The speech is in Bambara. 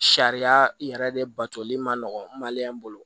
Sariya yɛrɛ de batoli man nɔgɔ bolo